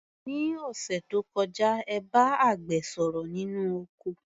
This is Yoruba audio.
Ní òṣẹ̀ tó kọjá, ẹ bá àgbẹ̀ sọ̀rọ̀ nínú oko.